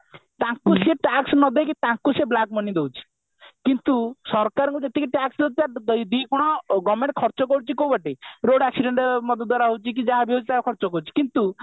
ତାଙ୍କୁ ସେ tax ନ ଦେଇ ତାଙ୍କୁ ସେ black money ଦଉଛି କିନ୍ତୁ ସରକାରଙ୍କୁ ଯେତିକି tax ନଦେଲା ଦିଗୁଣ government ଖର୍ଚକରୁଛି କଉ ବାଟେ road accident ମଦ ଦ୍ଵାରା ହଉଛି କି ଯାହା ବି ହଉଛି ତାର ଖର୍ଚ କରୁଛି କିନ୍ତୁ